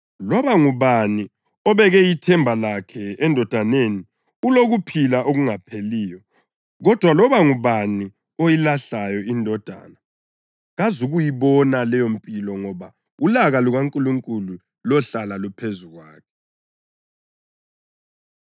Loba ngubani obeke ithemba lakhe eNdodaneni ulokuphila okungapheliyo, kodwa loba ngubani oyilahlayo iNdodana kazukuyibona leyompilo ngoba ulaka lukaNkulunkulu lohlala luphezu kwakhe.